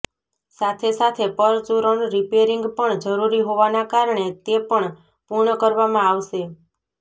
સાથેસાથે પરચુરણ રિપેરીંગ પણ જરૃરી હોવાના કારણે તે પણ પુર્ણ કરવામાં આવશે